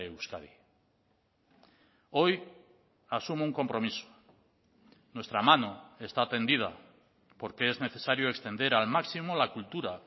euskadi hoy asumo un compromiso nuestra mano está tendida porque es necesario extender al máximo la cultura